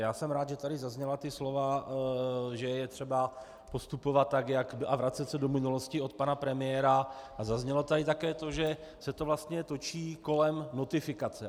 Já jsem rád, že tady zazněla ta slova, že je třeba postupovat a vracet se do minulosti, od pana premiéra, a zaznělo tady také to, že se to vlastně točí kolem notifikace.